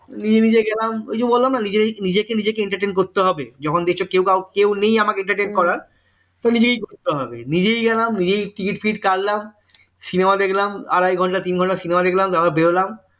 নিজে নিজে গেলাম ওই যে বললাম না নিজেকে নিজেকে entertain করতে হবে যখন দেখছো কেউ নেই আমাকে entertain করার তো নিজেকেই করতে হবে নিজেই গেলাম নিজেই ticket ফিকিট কাটলাম cinema দেখলাম আড়াই ঘন্টা তিন ঘন্টা cinema দেখলাম তারপর বেরোলাম